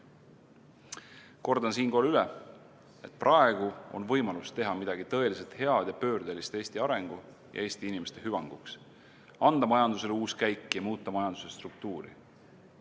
Kordan siinkohal üle: praegu on võimalus teha midagi tõeliselt head ja pöördelist Eesti arengu ning Eesti inimeste hüvanguks, anda majandusele uus käik ja muuta majanduse struktuuri.